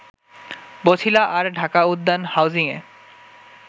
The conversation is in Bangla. বছিলা আর ঢাকা উদ্যান হাউজিংয়ে